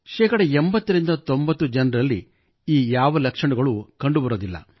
ಶೇ 8090 ಜನರಲಲಿ ಈ ಯಾವ ಲಕ್ಷಣಗಳು ಕಂಡುಬರುವುದಿಲ್ಲ